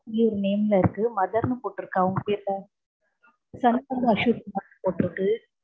name ல இருக்கு mother னு போட்டிருக்கா அவங்க பேர்ல சண்முகம் அசோக்குமார்னு போட்டிருக்கு